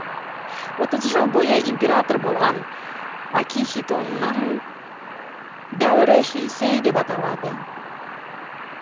отыз жыл бойы император болған акихитоның дәуірі хейсэй деп аталады